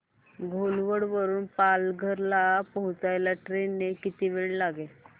घोलवड वरून पालघर ला पोहचायला ट्रेन ने किती वेळ लागेल